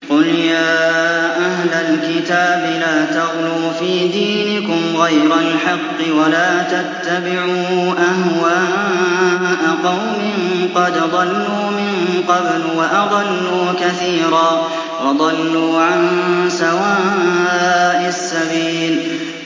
قُلْ يَا أَهْلَ الْكِتَابِ لَا تَغْلُوا فِي دِينِكُمْ غَيْرَ الْحَقِّ وَلَا تَتَّبِعُوا أَهْوَاءَ قَوْمٍ قَدْ ضَلُّوا مِن قَبْلُ وَأَضَلُّوا كَثِيرًا وَضَلُّوا عَن سَوَاءِ السَّبِيلِ